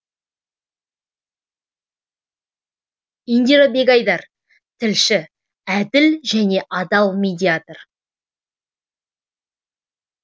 индира бегайдар тілші әділ және адал медиатор